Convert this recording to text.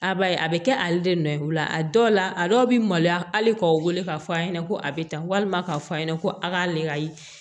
A b'a ye a bɛ kɛ ale de nɔ ye o la a dɔw la a dɔw bɛ maloya hali k'aw wele k'a fɔ a ɲɛna ko a bɛ tan walima k'a fɔ a ɲɛna ko a k'ale ka ye